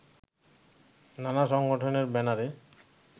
নানা সংগঠনের ব্যানারে